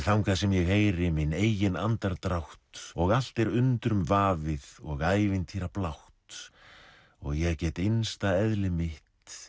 þangað sem ég heyri minn eigin andardrátt og allt er undrum vafið og ævintýrablátt og ég get innsta eðli mitt